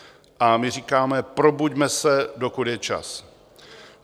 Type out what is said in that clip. A my říkáme: probuďme se, dokud je čas.